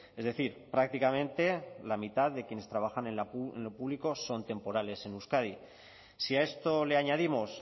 es decir prácticamente la mitad de quienes trabajan en lo público son temporales en euskadi si a esto le añadimos